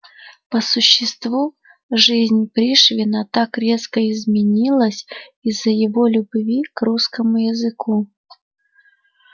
по существу жизнь пришвина так резко изменилась из-за его любви к русскому языку